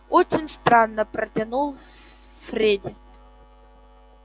очень странно протянул фредди